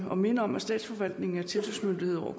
og minde om at statsforvaltningen er tilsynsmyndighed over